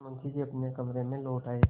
मुंशी जी अपने कमरे में लौट आये